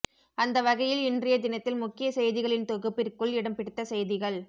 அந்த வகையில் இன்றைய தினத்தில் முக்கிய செய்திகளின் தொகுப்பிற்குள் இடம்பிடித்த செய்திகள்